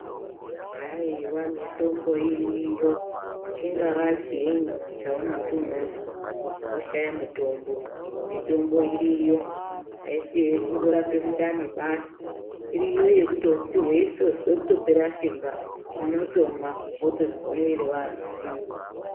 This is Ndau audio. Haiva mitombo iriyo chingava chiinyi chaunoti unozwa oshaya mutombo. Mitombo iriyo haisi yekungorapa mundani basi iriyo yekuti veitozwe kutopera simba unotomwa votozwa mwiri vane simba.